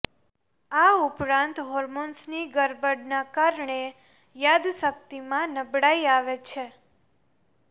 આ ઉપરાંત હોર્મોન્સની ગરબડના કારણે યાદશક્તિમાં નબળાઈ આવે છે